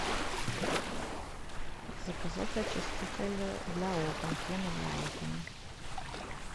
заказать очиститель для окон пена для окон